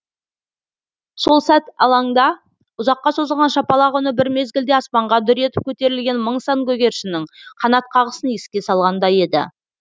сол сәт алаңда ұзаққа созылған шапалақ үні бір мезгілде аспанға дүр етіп көтерілген мың сан көгершіннің қанат қағысын еске салғандай еді